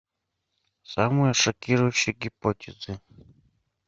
самые шокирующие гипотезы